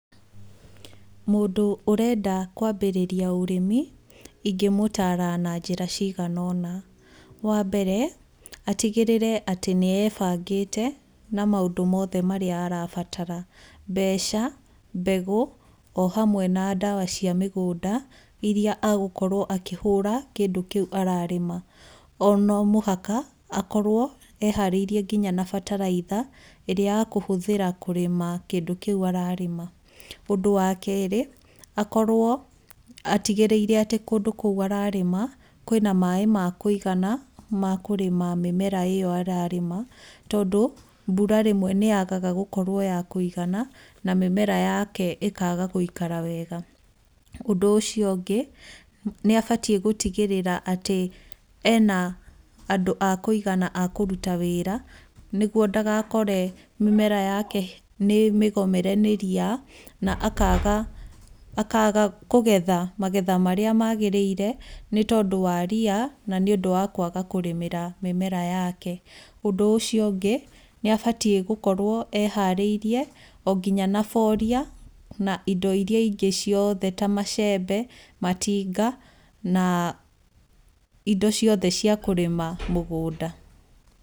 Mũndũ ũrenda kwambĩrĩria ũrĩmi, ingĩmũtaara na njĩra cigana ũna, Wa mbere atigĩrĩre atĩ nĩ ebangĩte na maũndũ mothe marĩa arabatara, mbeca mbegũ o hamwe na ndawa cia mũgũnda, iria agũkorwo akĩhũra kĩndũ kĩu ararĩma. O no mũhaka akorwo eharĩirie nginya na bataraitha, ĩrĩa akũhũthĩra kũrĩma kĩndũ kĩu ararĩma. Ũndũ wa kerĩ akorwo atigĩrĩire atĩ kũndũ kou ararĩma, kwĩna maĩ ma kũigana ma kũrĩma mĩmera ĩyo ararĩma, tondũ mbura rĩmwe nĩ yagaga gũkorwo ya kũigana, na mĩmera yake ĩkaga gũikara wega. Ũndũ ũcio ũngĩ nĩ abatiĩ gũtigĩrĩra atĩ ena andũ a kũigana a kũruta wĩra, nĩguo ndagakore atĩ mĩmera yake nĩ mĩgomere nĩ ria, na akaga kũgetha magetha marĩa magĩrĩire, nĩ tondũ wa ria na nĩ ũndũ wa kwaga kũrĩmĩra mĩmera yake. Ũndũ ũcio ũngĩ nĩ abatiĩ gũkorwo eharíĩrie o nginya na boria, na indo iria ingĩ ciothe ta macembe, matinga na indo ciothe cia kũrĩma mũgũnda.